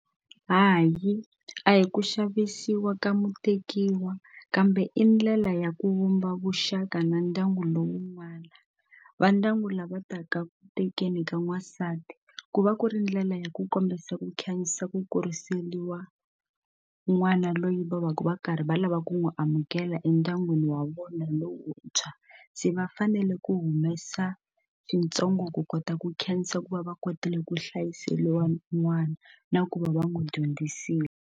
Hayi a hi ku xavisiwa ka mutekiwa kambe i ndlela ya ku vumba vuxaka na ndyangu lowun'wani va ndyangu lava ta ka ku tekeni ka n'wansati ku va ku ri ndlela ya ku kombisa ku khanyisa ku kuriseriwa n'wana loyi va va va karhi va lava ku n'wi amukela endyangwini wa vona lowuntshwa se va fanele ku humesa swintsongo ku kota ku khensa ku va va kotile ku hlayiseliwa n'wana na ku va va n'wi dyondzisile.